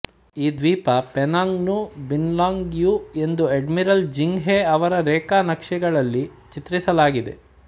ಈ ದ್ವೀಪ ಪೆನಾಂಗ್ ನ್ನು ಬಿನ್ಲಾಂಗ್ ಯು ಎಂದು ಅಡ್ಮಿರಲ್ ಜೆಂಗ್ ಹೆ ಅವರ ರೇಖಾನಕ್ಷೆಗಳಲ್ಲಿ ಚಿತ್ರಿಸಲಾಗಿದೆ